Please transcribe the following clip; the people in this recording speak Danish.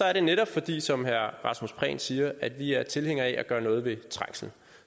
er det netop fordi som herre rasmus prehn siger at vi er tilhængere af at gøre noget ved trængslen